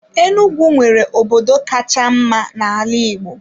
Enugwu nwere obodo kacha mma na ala igbo.